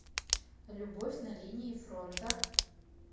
любовь на линии фронта